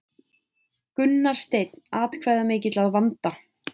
Gunnar Steinn atkvæðamikill að vanda